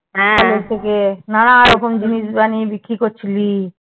থেকে নানান রকম জিনিস বানিয়ে বিক্রি করছিলি?